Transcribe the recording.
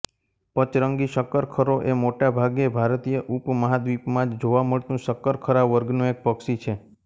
પચરંગી શક્કરખરો એ મોટાભાગે ભારતીય ઉપમહાદ્વિપમાં જ જોવા મળતું શક્કરખરા વર્ગનું એક પક્ષી છે